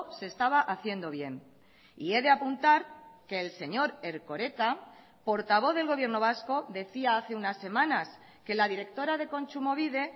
se estaba haciendo bien y he de apuntar que el señor erkoreka portavoz del gobierno vasco decía hace unas semanas que la directora de kontsumobide